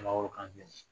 Mangoro kan